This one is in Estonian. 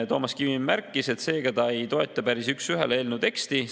Toomas Kivimägi märkis, et seega ta päris üks ühele eelnõu teksti ei toeta.